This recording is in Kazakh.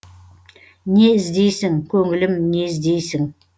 не іздейсің көңілім не іздейсің